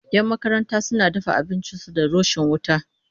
Yan makaranta suna dafa abincin su da rishon wuta